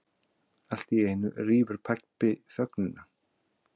Alltíeinu rýfur pabbi þögnina.